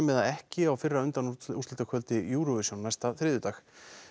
eða ekki á fyrra Eurovision næsta þriðjudag